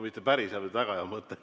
Mitte päris hea, vaid väga hea.